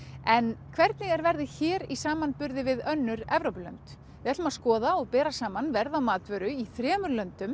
en hvernig er verðið hér í samanburði við önnur Evrópulönd við ætlum að skoða og bera saman verð á matvöru í þremur löndum